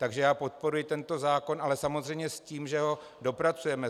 Takže já podporuji tento zákon, ale samozřejmě s tím, že ho dopracujeme.